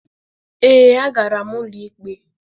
Ee, a gara m ụlọikpe.